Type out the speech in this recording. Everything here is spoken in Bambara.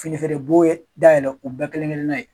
Fini feere b'o ye dayɛlɛn u ba kelen kelen n'a ye.